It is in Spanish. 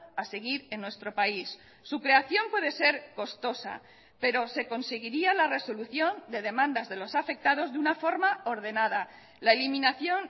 a seguir en nuestro país su creación puede ser costosa pero se conseguiría la resolución de demandas de los afectados de una forma ordenada la eliminación